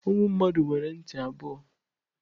Ụmụ mmadụ nwere ntị abụọ.